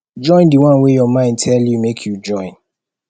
join di one way your mind tell you make you join